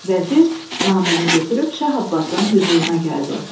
Vəzir naməni götürüb Şah Abbasın hüzuruna gəldi.